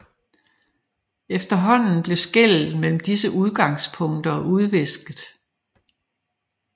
Efterhånden blev skellet mellem disse udgangspunkter udvisket